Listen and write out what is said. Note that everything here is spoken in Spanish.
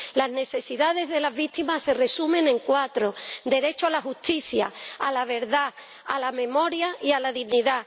Las necesidades de las víctimas se resumen en cuatro derecho a la justicia, a la verdad, a la memoria y a la dignidad.